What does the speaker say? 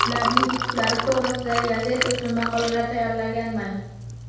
Ularning yutuqlari to‘g‘risida gazeta uchun maqolalar tayyorlaganman.